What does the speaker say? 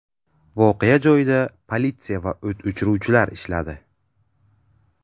Voqea joyida politsiya va o‘t o‘chiruvchilar ishladi.